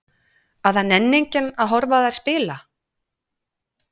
Að það nenni enginn að horfa á þær spila?